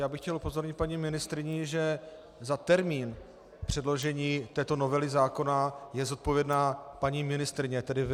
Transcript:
Já bych chtěl upozornit paní ministryni, že za termín předložení této novely zákona je zodpovědná paní ministryně, tedy vy.